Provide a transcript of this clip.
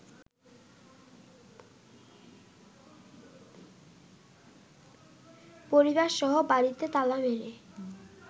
পরিবারসহ বাড়িতে তালা মেরে